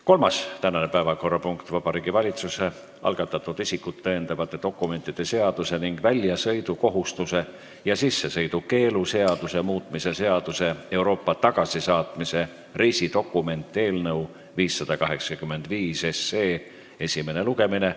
Tänane kolmas päevakorrapunkt: Vabariigi Valitsuse algatatud isikut tõendavate dokumentide seaduse ning väljasõidukohustuse ja sissesõidukeelu seaduse muutmise seaduse eelnõu 585 esimene lugemine.